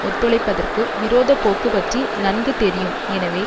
ஒத்துழைப்பதற்கு விரோத போக்கு பற்றி நன்கு தெரியும் எனவே